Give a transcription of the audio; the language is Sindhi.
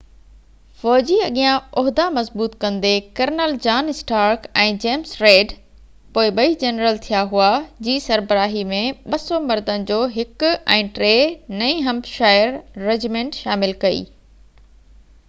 فوجي اڳيان عهدا مضبوط ڪندي، colonel John Stark ۽ James Reed پوءِ ٻئي جنرل ٿيا هئا جي سربراهي ۾ 200 مردن جو 1 ۽ 3 نئي همپ شائر رجمنٽ شامل ڪئي،